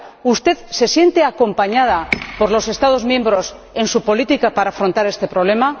¿Usted se siente acompañada por los Estados miembros en su política para afrontar este problema?